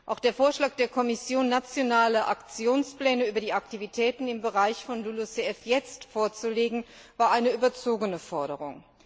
Auch der Vorschlag der Kommission, nationale Aktionspläne über die Aktivitäten im Bereich von LULUCF jetzt vorzulegen, war eine überzogene Forderung.